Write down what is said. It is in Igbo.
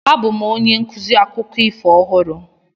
Abụ m onye nkuzi akụkọ ifo ọhụrụ.